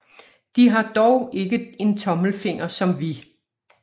De har dog ikke en tommelfinger som vi